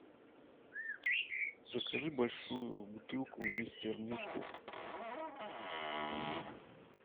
закажи большую бутылку мистер мускул